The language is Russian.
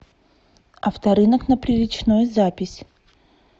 авторынок на приречной запись